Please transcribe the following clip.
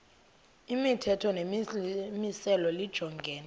imithetho nemimiselo lijongene